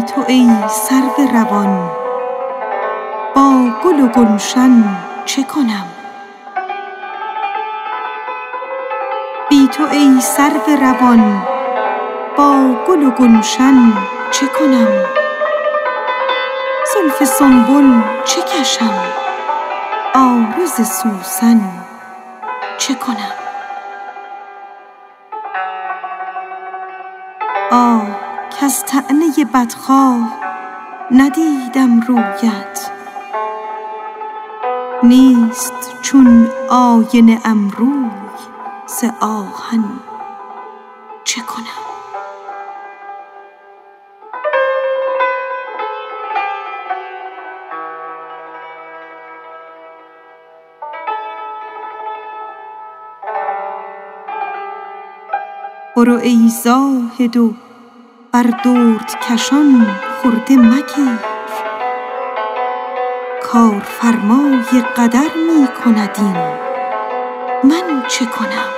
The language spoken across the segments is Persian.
بی تو ای سرو روان با گل و گلشن چه کنم زلف سنبل چه کشم عارض سوسن چه کنم آه کز طعنه بدخواه ندیدم رویت نیست چون آینه ام روی ز آهن چه کنم برو ای ناصح و بر دردکشان خرده مگیر کارفرمای قدر می کند این من چه کنم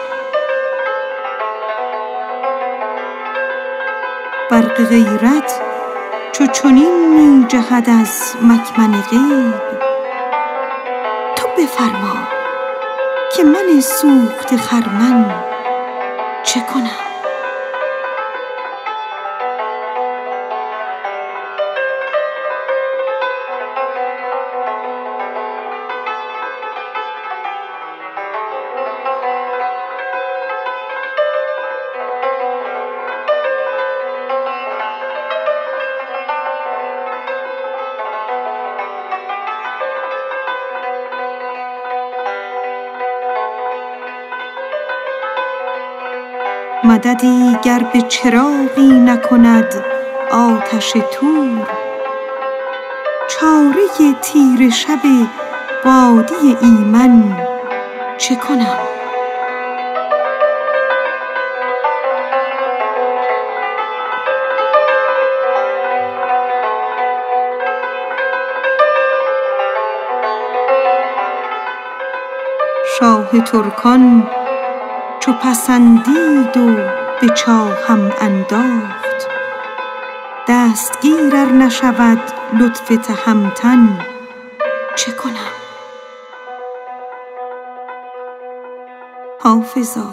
برق غیرت چو چنین می جهد از مکمن غیب تو بفرما که من سوخته خرمن چه کنم شاه ترکان چو پسندید و به چاهم انداخت دستگیر ار نشود لطف تهمتن چه کنم مددی گر به چراغی نکند آتش طور چاره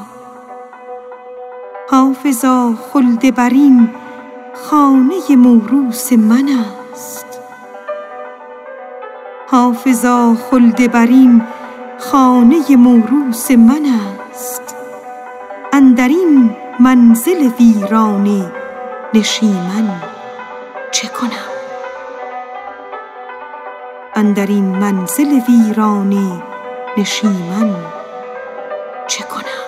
تیره شب وادی ایمن چه کنم حافظا خلدبرین خانه موروث من است اندر این منزل ویرانه نشیمن چه کنم